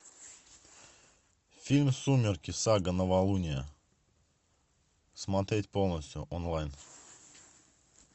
фильм сумерки сага новолуние смотреть полностью онлайн